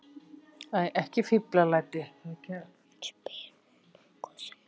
spyr hún hvössum rómi.